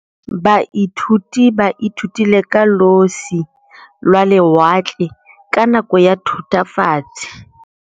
Baithuti ba ithutile ka losi lwa lewatle ka nako ya Thutafatshe.